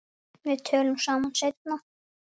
Við tölum saman seinna.